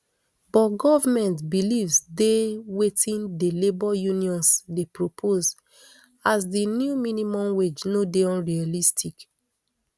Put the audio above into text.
but goment believe sday wetin di labour unions dey propose as di new minimum wage no dey unrealistic